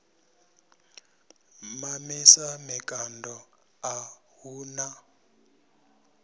mamisa mikando a hu na